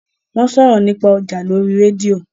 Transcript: wón sòrò nípa ọja lórí rédíò.